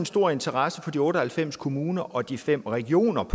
stor interesse fra de otte og halvfems kommuner og de fem regioners